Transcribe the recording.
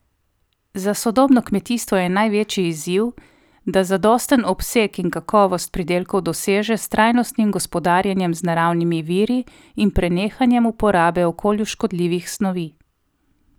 Za sodobno kmetijstvo je največji izziv, da zadosten obseg in kakovost pridelkov doseže s trajnostnim gospodarjenjem z naravnimi viri in prenehanjem uporabe okolju škodljivih snovi.